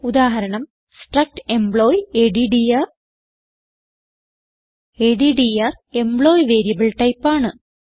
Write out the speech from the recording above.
ഉദാഹരണം struct employee adder adder employee variable type ആണ്